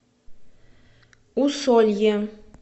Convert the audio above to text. усолье